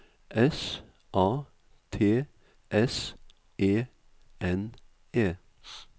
S A T S E N E